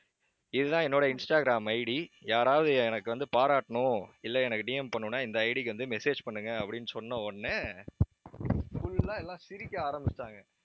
இதுதான் என்னோட Instagram ID யாராவது எனக்கு வந்து பாராட்டணும் இல்லை எனக்கு DM பண்ணணும்ன்னா இந்த ID க்கு வந்து message பண்ணுங்க அப்படின்னு சொன்ன உடனே full ஆ எல்லாம் சிரிக்க ஆரம்பிச்சுட்டாங்க